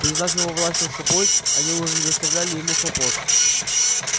признав его власть над собой они уже не доставляли ему хлопот